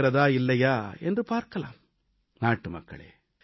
இதில் எனக்கு வெற்றி கிடைக்கிறதா இல்லையா என்று பார்க்கலாம்